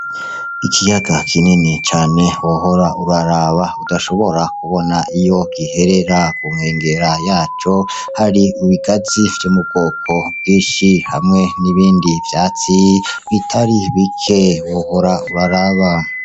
Ikiyaga kinini cane wohora uraraba, udashobora kubona iyo giherera. Ku nkengera y'aco, hari ibigazi vyo mu bwoko bwinshi hamwe n'ibindi vyatsi bitari bike, wohora uraraba.